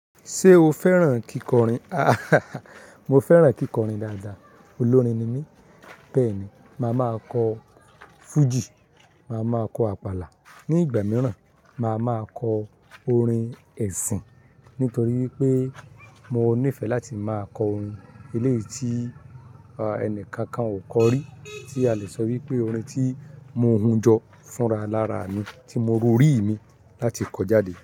Ṣé o fẹ́ràn kíkọrin? Mo fẹ́ràn kíkọrin dáadáa. Olórin ni mí. Bẹ́ẹ̀ ni, màá máa kọ Fuji, màá máa kọ àpàlà. Ní ìgbà mìíràn, màá máa kọ orin ẹ̀sìn. Nítorí wípé mo níìfẹ̀ láti máa kọ orin eléyìí tí ẹni kankan ò kọ rí, tí a le sọ wípé orin tí mo hun jọ fúnra lára mi, tí mo rorí mi láti kọ jáde.